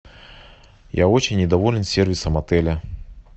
я очень недоволен сервисом отеля